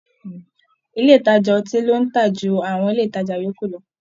Ilé ìtajà ọtí ló ń tà jù àwọn ilé ìtajà yòókù lọ